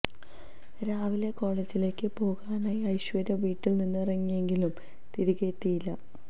രാവിലെ കോളേജിലേക്ക് പോകാനായി ഐശ്വര്യ വീട്ടിൽ നിന്ന് ഇറങ്ങിയെങ്കിലും തിരികെ എത്തിയില്ല